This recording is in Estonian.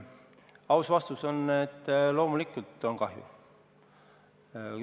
Aus vastus on, et loomulikult on kahju.